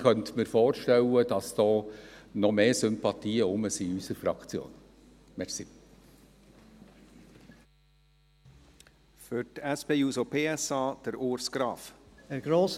Ich könnte mir aber vorstellen, dass in unserer Fraktion dafür noch mehr Sympathien vorhanden wären.